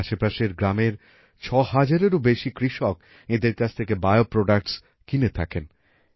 আজ আশপাশের গ্রামের ছয় হাজারেরও বেশি কৃষক এঁদের কাছ থেকে বিও প্রোডাক্টস কিনে থাকেন